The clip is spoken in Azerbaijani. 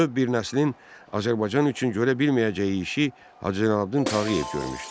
Bütöv bir nəslin Azərbaycan üçün görə bilməyəcəyi işi Hacı Zeynalabdin Tağıyev görmüşdü.